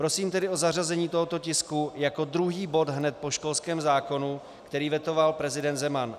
Prosím tedy o zařazení tohoto tisku jako druhý bod hned po školském zákonu, který vetoval prezident Zeman.